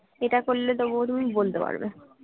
attack করলে তবুও তুমি বলতে পারবে